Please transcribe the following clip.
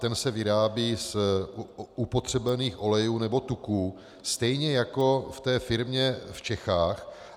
Ten se vyrábí z upotřebených olejů nebo tuků stejně jako v té firmě v Čechách.